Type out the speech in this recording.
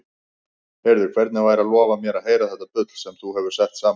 Heyrðu, hvernig væri að lofa mér að heyra þetta bull sem þú hefur sett saman?